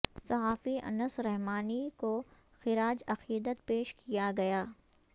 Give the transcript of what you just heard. صحافی انس رحمانی کو خراج عقیدت پیش کیا گیا